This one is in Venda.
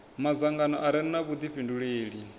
madzangano a re na vhudifhinduleli